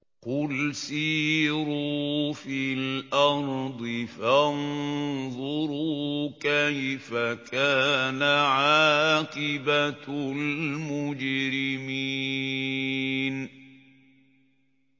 قُلْ سِيرُوا فِي الْأَرْضِ فَانظُرُوا كَيْفَ كَانَ عَاقِبَةُ الْمُجْرِمِينَ